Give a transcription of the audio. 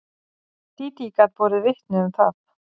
Dídí gat borið vitni um það.